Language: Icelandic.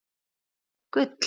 Guðný: Gull?